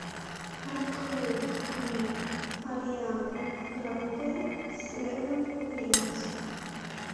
открой клип арианы гранде севен рингс